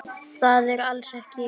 Það er alls ekki ljóst.